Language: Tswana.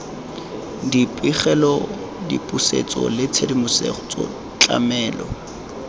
dipegelo dipusetso le tshedimosetso tlamelo